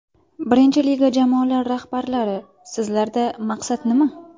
Birinchi liga jamoalari rahbarlari, sizlarda maqsad nima?